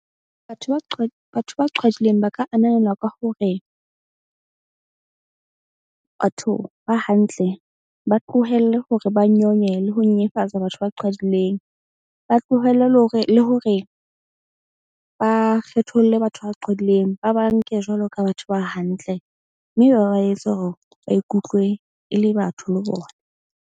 Batho ba batho ba qhwadileng ba ka ananelwa ka hore batho ba hantle ba tlohelle hore ba nyonye le ho nyenyefatsa batho ba qhwadileng. Ba tlohelle le hore ba kgetholle batho ba qhwadileng, ba ba nke jwalo ka batho ba hantle. Mme ba ba etse hore ba ikutlwe e le batho le bona.